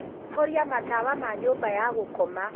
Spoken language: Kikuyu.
horia matawa ma nyũmba ya gũkoma.